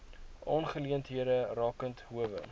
aangeleenthede rakende howe